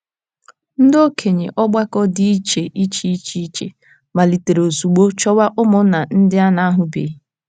Ndị okenye ọgbakọ dị iche iche iche iche malitere ozugbo chọwa ụmụnna ndị a na - ahụbeghị.